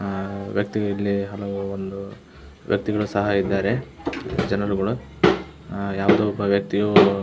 ಆಹ್ಹ್ ವ್ಯಕ್ತಿಯು ಇಲ್ಲಿ ಹಲವು ಒಂದು ಬಿವ್ಯಕ್ತಿಯು ಸಹ ಇದ್ದಾರೆ ಜನರು ಗಳು ಯಾವುದೊ ಒಬ್ಬ ವ್ಯಕ್ತಿಯು --